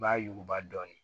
I b'a yuguba dɔɔnin